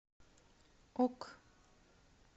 ок